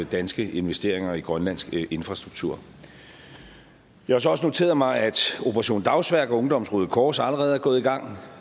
danske investeringer i grønlandsk infrastruktur jeg har så også noteret mig at operation dagsværk og ungdommens røde kors allerede er gået i gang